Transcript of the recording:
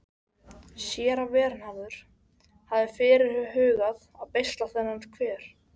Séra Vernharður hafði fyrirhugað að beisla þennan hver.